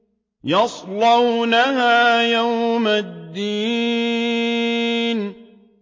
يَصْلَوْنَهَا يَوْمَ الدِّينِ